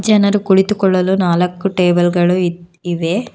ಜನರು ಕುಳಿತುಕೊಳ್ಳಲು ನಾಲ್ಕು ಟೇಬಲ್ ಗಳು ಇವೆ.